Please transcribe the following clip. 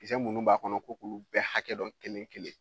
Kisɛ minnu b'a kɔnɔ ko k'olu bɛɛ hakɛ dɔn kelen kelen